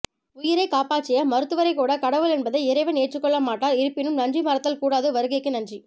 உயிரைக் காப்பாற்றிய மருத்துவரைக்கூட கடவுள் என்பதை இறைவன் ஏற்றுக் கொள்ளமாட்டார் இருப்பினும் நன்றி மறத்தல் கூடாது வருகைக்கு நன்றி